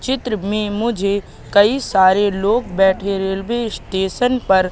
चित्र में मुझे कई सारे लोग बैठे रेलवे स्टेशन पर--